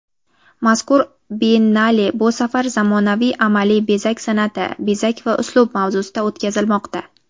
Mazkur Biennale bu safar "Zamonaviy amaliy-bezak san’ati: bezak va uslub" mavzusida o‘tkazilmoqda.